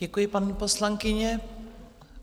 Děkuji, paní poslankyně.